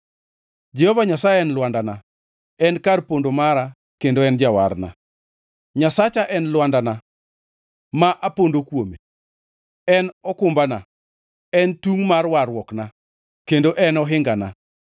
Jehova Nyasaye en lwandana, en kar pondo mara kendo en jawarna; Nyasacha en lwandana ma apondo kuome. En okumbana, en tungʼ mar warruokna, kendo en ohingana.